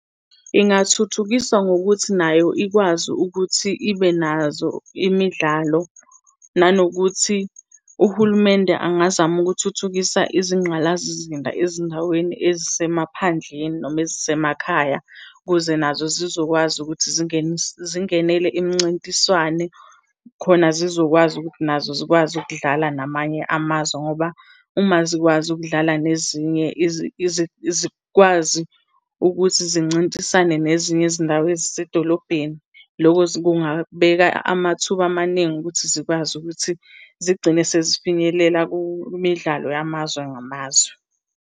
Ingathuthukiswa ngokuthi nayo ikwazi ukuthi ibe nazo imidlalo, nanokuthi uhulumende angazama ukuthuthukisa izinqgalazizinda ezindaweni ezisemaphandleni noma ezisemakhaya ukuze nazo zizokwazi ukuthi zingenele imncintiswane. Khona sizokwazi ukuthi nazo zikwazi ukudlala namanye amazwe ngoba uma zikwazi ukudlala nezinye zikwazi ukuthi zincintisane nezinye izindawo ezisedolobheni, loko kungabeka amathuba amaningi ukuthi zikwazi ukuthi zigcine sezifinyelela kumidlalo yamazwe ngamazwe.